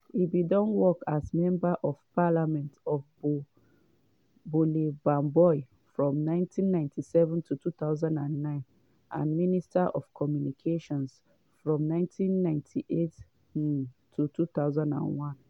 e bin work as member of parliament for bole bamboi from 1997 to 2009 and minister of communications from 1998 um to 2001.